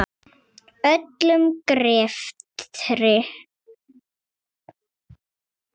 Öllum greftri